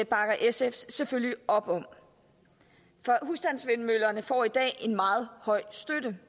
bakker sf selvfølgelig op om husstandsvindmøller får i dag en meget høj støtte